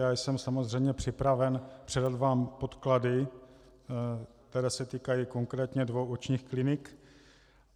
Já jsem samozřejmě připraven předat vám podklady, které se týkají konkrétně dvou očních klinik.